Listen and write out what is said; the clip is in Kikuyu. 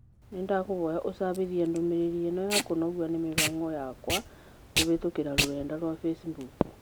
Nĩndakũhoya úcabithie ndũmĩrĩri ĩno ya kũnogio nĩ mĩhang'o yakwakũhītũkīra rũrenda rũa facebook